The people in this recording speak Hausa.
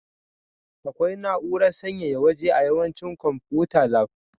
Akwai na'urar sanyaya waje a yawancin konfuta lab.